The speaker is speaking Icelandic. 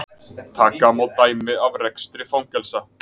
taka má dæmi af rekstri fangelsa